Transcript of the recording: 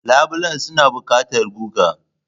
Labulen suna buƙatar guga.